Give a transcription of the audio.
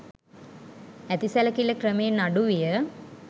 ඇති සැලකිල්ල ක්‍රමයෙන් අඩු විය.